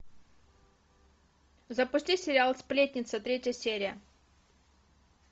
запусти сериал сплетница третья серия